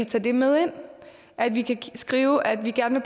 tage det med ind at vi kan skrive at vi gerne